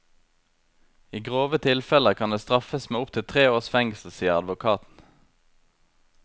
I grove tilfeller kan det straffes med opptil tre års fengsel, sier advokaten.